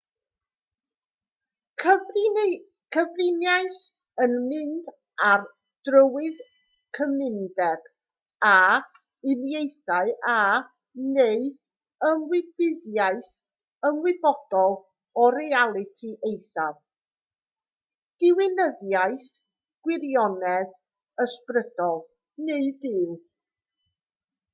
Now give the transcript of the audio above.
cyfriniaeth yw mynd ar drywydd cymundeb â uniaethu â neu ymwybyddiaeth ymwybodol o realiti eithaf diwinyddiaeth gwirionedd ysbrydol neu dduw